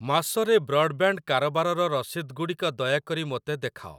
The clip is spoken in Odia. ମାସ ରେ ବ୍ରଡ଼୍‌ବ୍ୟାଣ୍ଡ୍‌ କାରବାରର ରସିଦଗୁଡ଼ିକ ଦୟାକରି ମୋତେ ଦେଖାଅ।